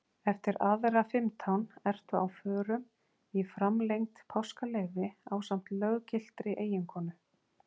Eftir aðra fimmtán ertu á förum í framlengt páskaleyfi ásamt löggiltri eiginkonu.